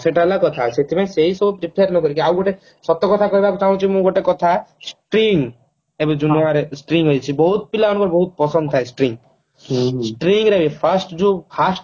ସେଟା ହେଲା କଥା ସେଥିରେ ସେଇ ସବୁ prefer ନକରିକି ଆଉ ଗୋଟେ ସତ କଥା କହିବାକୁ ଚାହୁଁଛି ମୁଁ ଗୋଟେ କଥା string ଆମର string ଆଇଛି ବହୁତ ପିଲାଙ୍କୁ ବହୁତ ପସନ୍ଦ ଥାଏ string string ର fast ଯୋଉ fast